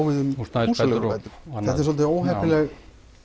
við um húsaleigubætur þetta er svolítið óheppileg